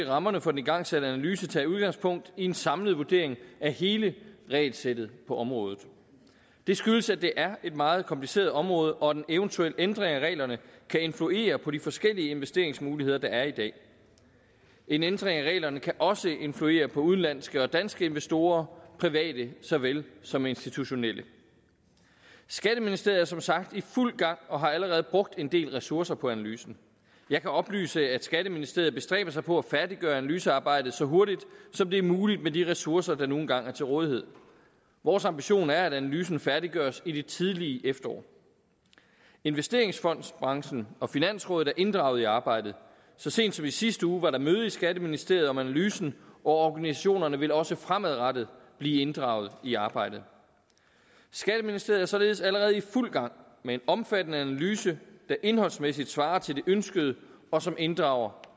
rammerne for den igangsatte analyse tage udgangspunkt i en samlet vurdering af hele regelsættet på området det skyldes at det er et meget kompliceret område og at en eventuel ændring af reglerne kan influere på de forskellige investeringsmuligheder der er i dag en ændring af reglerne kan også influere på udenlandske og danske investorer private såvel som institutionelle skatteministeriet er som sagt i fuld gang og har allerede brugt en del ressourcer på analysen jeg kan oplyse at skatteministeriet bestræber sig på at færdiggøre analysearbejdet så hurtigt som det er muligt med de ressourcer der nu engang er til rådighed vores ambition er at analysen færdiggøres i det tidlige efterår investeringsfondsbranchen og finansrådet er inddraget i arbejdet så sent som i sidste uge var der møde i skatteministeriet om analysen og organisationerne vil også fremadrettet blive inddraget i arbejdet skatteministeriet er således allerede i fuld gang med en omfattende analyse der indholdsmæssigt svarer til det ønskede og som inddrager